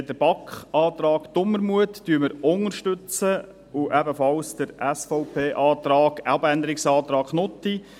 Den BaK-Antrag Dumermuth unterstützen wir auch und ebenfalls den SVP-Abänderungsantrag Knutti.